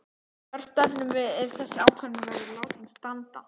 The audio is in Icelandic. Hvert stefnum við ef þessi ákvörðun verður látin standa?